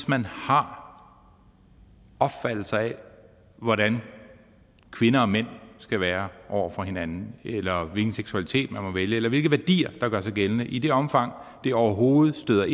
man har opfattelser af hvordan kvinder og mænd skal være over for hinanden eller hvilken seksualitet man må vælge eller hvilke værdier der gør sig gældende i det omfang de overhovedet støder